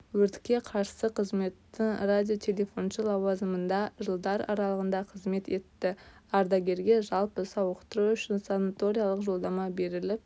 өртке қарсы қызметтің радиотелефоншы лауазымында жылдар аралығында қызмет етті ардагерге жалпы сауықтыру үшін санаториялық-жолдама беріліп